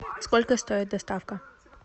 сколько стоит доставка